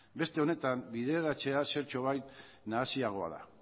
beste honetan bideraraztea zertxobait nahasiagoa da